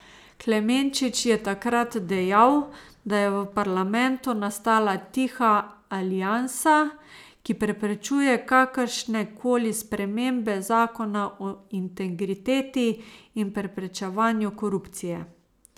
Klemenčič je takrat dejal, da je v parlamentu nastala tiha aliansa, ki preprečuje kakršne koli spremembe zakona o integriteti in preprečevanju korupcije.